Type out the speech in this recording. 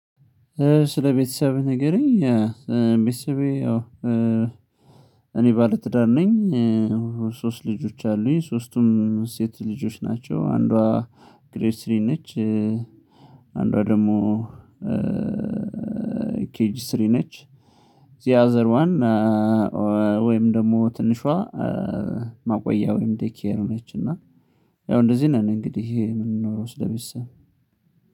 ስለ ቤተሰብህ ንገረኝ? እ እ ቤተሰቤ ያው እ እኔ ባለ ትዳር ነኝ እ ሶስት ልጆች አሉኝ ሶስቱም ሴት ልጆች ናቸው። አንዷ ግሬድ ስሪ ነች። እ አንዷ ደግሞ ኬጂ ስሪ ነች። ዘ አዘር ዋን ወን ወይም ደግሞ ትንሿ እ ማቆያ ወይም ዴይ ኬር ነች። እና ያው እንደዚህ ነን። እንግዲህ ይሄ የምንኖረው ስለቤተሰብ